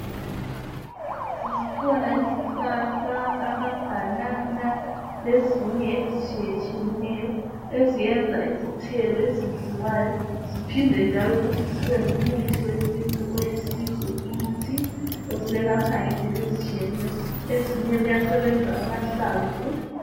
Zikhona izihlahla amabanana lezinye ezitshiyetshiyeneyo eziyenza izithelo ezidliwayo ziphinde njalo futhi zibe ngumuthi wesintu othize kithi oselapha ngendlela ezitshiyeneyo ezinye kuyasebenza amahlamvu